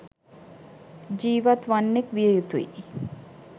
ජීවත් වන්නෙක් විය යුතුයි.